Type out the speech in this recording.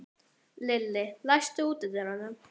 Lilli, læstu útidyrunum.